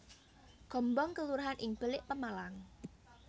Gombong kelurahan ing Belik Pemalang